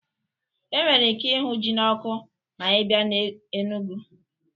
E nwere ike ịhụ ji n'ọkụ ma ị bịa na Enugwu